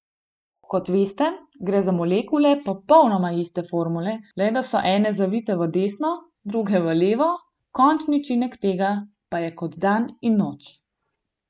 Kot veste, gre za molekule popolnoma iste formule, le da so ene zavite v desno, druge v levo, končni učinek tega pa je kot dan in noč.